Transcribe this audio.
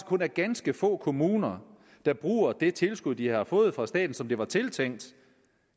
kun er ganske få kommuner der bruger det tilskud de har fået fra staten som det var tiltænkt